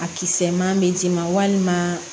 A kisɛ ma bɛ d'i ma walima